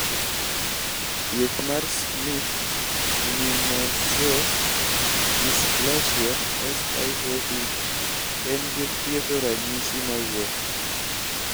thieth mar schimke immunoosseous dysplasia(SIOD) en ge thiedho ranyisi mawuok